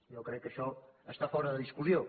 jo crec que això està fora de discussió